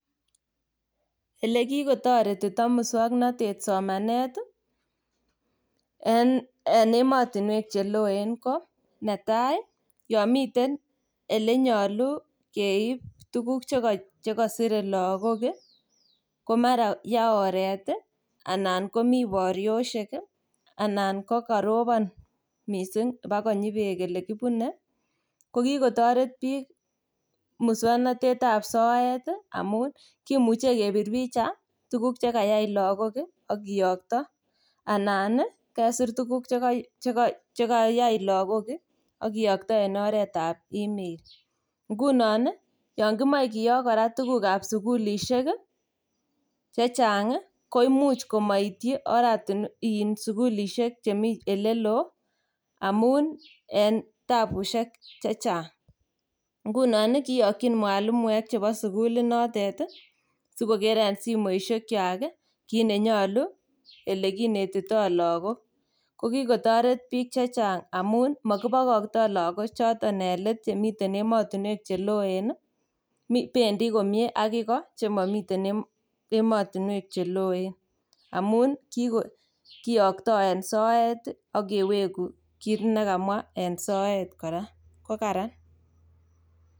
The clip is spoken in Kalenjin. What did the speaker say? Elekikotoretito muswoknatet somanet en ematinwek che loen ko ne tai, yon miten elenyalu keip tuguk che kasire lagok ko mara ya oret anan ko mi boriosiek anan ko karobon mising bo konyi beek ole kibune. Ko kikotoret biik muswoknstetab soet amun kimuche kepir picha tuguk che kayai lagok ak kiyokto anan kesir tuguk che kayai lagok ak kiyokto en oretab email. Nguno, yon kimoe kora koyokto tugukab sugulisiek, chechang koimuch komaityi in sugulisiek chemi oleloo amun en tabusiek che chang. Ngunon kiyokyin mwalimuek chebo sugulinotet sikoker en simoisiekwak kit nenyalu, olekinetito lagok. Ko kikotaret biik che chang amun mokibokikto lagochoto en let chemiten ematinuek che loen. Bendi komie ak igo chemamiten ematinuek che loen amun kiyokto en soet ak kewegu kit ne kamwa en soet kora, ko kararan.